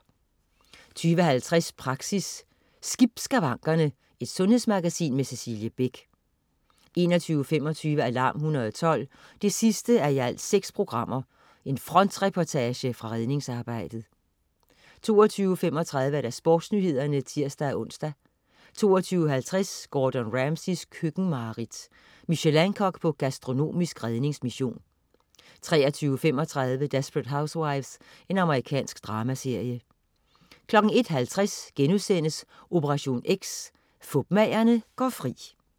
20.50 Praxis. Skip skavankerne. Sundhedsmagasin med Cecilie Beck 21.25 Alarm 112 6:6. Frontreportage fra redningsarbejdet 22.35 SportsNyhederne (tirs-ons) 22.50 Gordon Ramsays køkkenmareridt. Michelin-kok på gastronomisk redningsmission 23.35 Desperate Housewives. Amerikansk dramaserie 01.50 Operation X: Fupmagerne går fri*